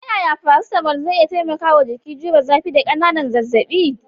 Ta yaya paracetamol zai iya taimakawa jiki jure zafi da ƙananan zazzabi?